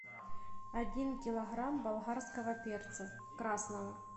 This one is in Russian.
один килограмм болгарского перца красного